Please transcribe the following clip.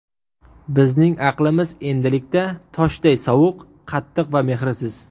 Bizning aqlimiz endilikda toshday sovuq, qattiq va mehrsiz.